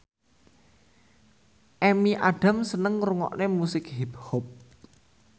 Amy Adams seneng ngrungokne musik hip hop